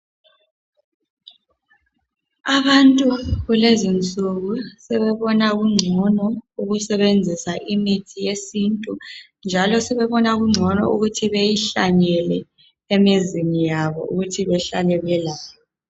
Abantu kulezinsuku sebebona kungcono ukusebenzisa imithi yesintu. Njalo sebebona kungcono ukuthi beyihlanyele imizini yabo ukuthi behlale belayo.